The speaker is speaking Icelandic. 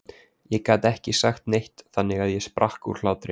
Ég gat ekki sagt neitt þannig að ég sprakk úr hlátri.